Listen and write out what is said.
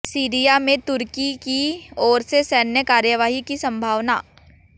Syria में तुर्की की ओर से सैन्य कार्यवाही की संभावना